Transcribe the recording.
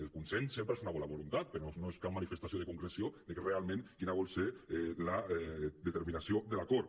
el consens sempre és una bona voluntat però no és cap manifestació de concreció de realment quina vol ser la determinació de l’acord